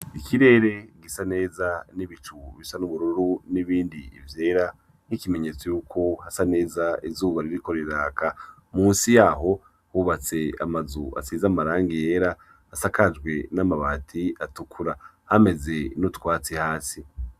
Ikirere gisa neza n'ibicu bisa n'ubururu n'ibindi vyera, nk'ikimenyetso yuko hasa neza izuba ririko riraka. Musi yaho hubatse amazu asize amarangi yera hasakajwe n'amabati atukura, hameze n'utwatsi hasi.